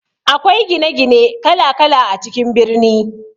Akwai gine gine kala kala a cikin birni.